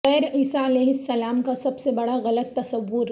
غیر عیسی علیہ السلام کا سب سے بڑا غلط تصور